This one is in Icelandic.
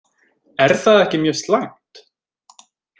Er það ekki mjög slæmt?